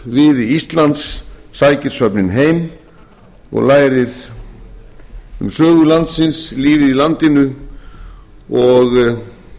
ungviði íslands sækir söfnin heim og lærir um sögu landsins lífið í landinu og